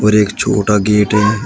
और एक छोटा गेट है।